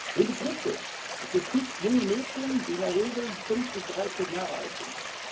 Wen betrifft es? Es betrifft junge Mädchen, die in der Regel fünf bis 13 Jahre alt sind.